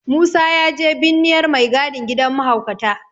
Musa ya je binniyar mai gadin gidan mahaukata.